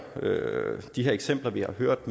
eksempler vi har hørt